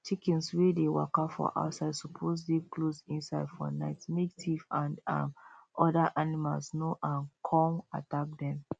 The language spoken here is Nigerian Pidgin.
chickens way the waka for outside suppose dey close inside for night make thief and um other animals no um come attack them